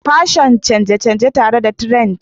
Fashion canje-canje tare da trends